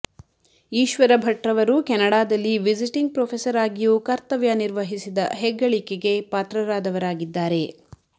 ಈಶ್ವರ ಭಟ್ರವರು ಕೆನಡಾದಲ್ಲಿ visiting professor ಆಗಿಯೂ ಕರ್ತವ್ಯ ನಿರ್ವಹಿಸಿದ ಹೆಗ್ಗಳಿಕೆಗೆ ಪಾತ್ರರಾದವರಾಗಿದ್ದಾರೆ